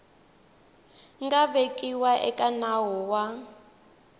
nga vekiwa eka nawu wa